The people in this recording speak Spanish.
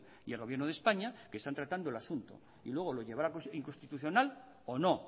y el gobierno de españa que están tratando el asunto y luego lo llevará la inconstitucional o no